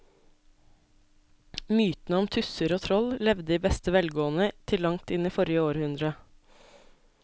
Mytene om tusser og troll levde i beste velgående til langt inn i forrige århundre.